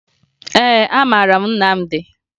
Ee, amara m Nnamdi